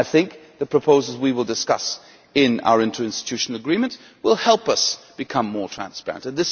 I think the proposals we will discuss in our interinstitutional agreement will help us become more transparent.